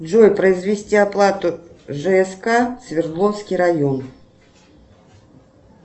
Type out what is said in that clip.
джой произвести оплату жск свердловский район